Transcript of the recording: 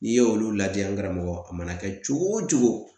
N'i ye olu lajɛ, an karamɔgɔ, a mana kɛ cogo o cogo